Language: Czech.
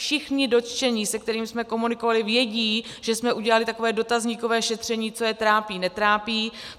Všichni dotčení, se kterými jsme komunikovali, vědí, že jsme udělali takové dotazníkové šetření, co je trápí, netrápí.